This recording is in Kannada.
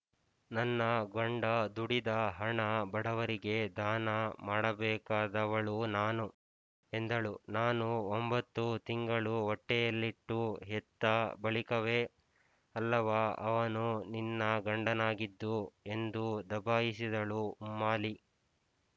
ನನ್ನ ಗಂಡ ದುಡಿದ ಹಣ ಬಡವರಿಗೆ ದಾನ ಮಾಡಬೇಕಾದವಳು ನಾನು ಎಂದಳು ನಾನು ಒಂಭತ್ತು ತಿಂಗಳು ಹೊಟ್ಟೆಯಲ್ಲಿಟ್ಟು ಹೆತ್ತ ಬಳಿಕವೇ ಅಲ್ಲವಾ ಅವನು ನಿನ್ನ ಗಂಡನಾಗಿದ್ದು ಎಂದು ದಬಾಯಿಸಿದಳು ಉಮ್ಮಾಲಿ